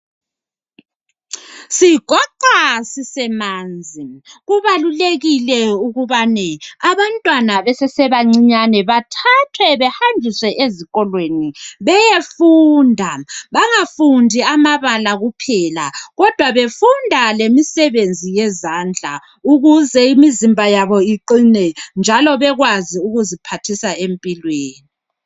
Sigoqwa sisemanzi. Kubalulekile ukubane abantwana besesebancinyane bathathwe bahanjiswe ezikolweni beyefunda, bangafundi amabala kuphela kodwa befunda lemisebenzi yezandla ukuze imizimba yabo iqine njalo bekwazi ukuziphathisa empilweni.